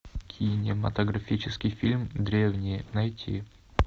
кинематографический фильм древние найти